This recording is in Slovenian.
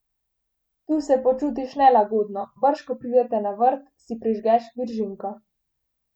Tu se počutiš nelagodno, brž ko pridete na vrt, si prižgeš viržinko.